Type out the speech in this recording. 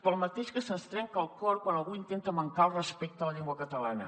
pel mateix que se’ns trenca el cor quan algú intenta mancar al respecte a la llengua catalana